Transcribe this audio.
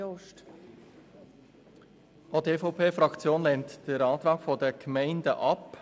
Auch die EVP-Fraktion lehnt den Antrag der Gemeinden ab.